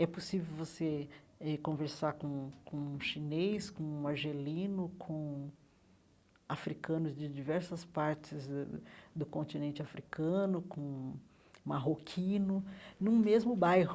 É possível você eh conversar com um com um chinês, com um argelino, com africanos de diversas partes do do do continente africano, com marroquino, num mesmo bairro.